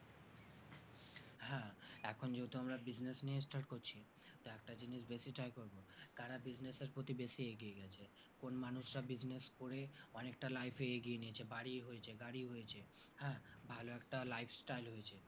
এখন যেহেতু আমরা business নিয়ে start করছি একটা জিনিস বেশি try করবো করা business এর প্রতি বেশি এগিয়ে গেছে কোন মানুষ তা business করে অনেকটা life এ এগিয়ে নিয়েছে বাড়ি হয়েছে গাড়ি হয়েছে হ্যাঁ ভালো একটা life style হয়েছে